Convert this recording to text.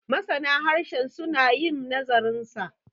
masana harshen suna yin nazarinsa